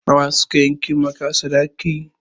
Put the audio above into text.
Na wa suka yanke maka sadaki?